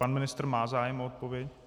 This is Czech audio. Pan ministr má zájem o odpověď.